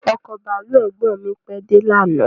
Ọkọ̀ bàálù ẹ̀gbọ́n mi pèé de lànàá